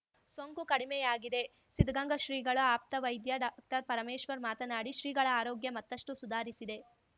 ಸೋಂಕು ಕಡಿಮೆಯಾಗಿದೆ ಸಿದ್ಧಗಂಗಾ ಶ್ರೀಗಳ ಆಪ್ತ ವೈದ್ಯ ಡಾಕ್ಟರ್ಪರಮೇಶ್ವರ್ ಮಾತನಾಡಿ ಶ್ರೀಗಳ ಆರೋಗ್ಯ ಮತ್ತಷ್ಟುಸುಧಾರಿಸಿದೆ